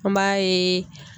An b'a yeee.